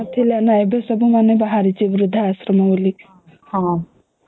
ଏବେ ସବୁ ବାହାରିଛି ବୃଦ୍ଧା ଶ୍ରମ